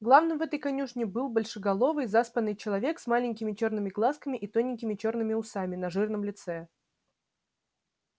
главным в этой конюшне был большеголовый заспанный человек с маленькими чёрными глазками и тоненькими чёрными усами на жирном лице